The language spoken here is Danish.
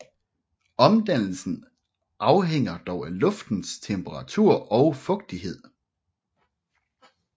Omdannelsen afhænger dog af luftens temperatur og fugtighed